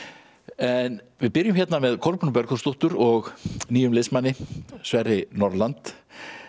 en við byrjum hérna með Kolbrúnu Bergþórsdóttur og nýjum liðsmanni Sverri Norland